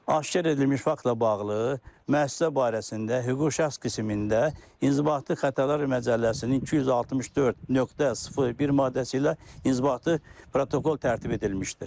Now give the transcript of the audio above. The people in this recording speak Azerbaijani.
Aşkar edilmiş faktla bağlı müəssisə barəsində hüquqi şəxs qismində inzibati xətalar məcəlləsinin 264.01 maddəsi ilə inzibati protokol tərtib edilmişdir.